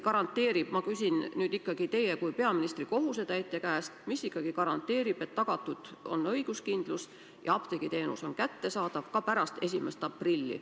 Ma küsin nüüd teie kui peaministri kohusetäitja käest, mis ikkagi garanteerib, et tagatud on õiguskindlus ja apteegiteenus on kättesaadav ka pärast 1. aprilli.